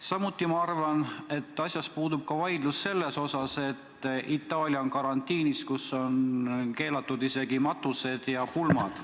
Samuti ma arvan, et asjas puudub vaidlus selle üle, et Itaalia on karantiinis, kus on keelatud isegi matused ja pulmad.